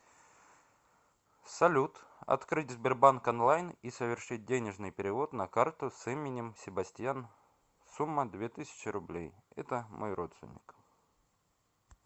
салют открыть сбербанк онлайн и совершить денежный перевод на карту с именем себастьян сумма две тысячи рублей это мой родственник